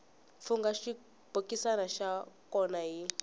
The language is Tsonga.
fungha xibokisana xa kona hi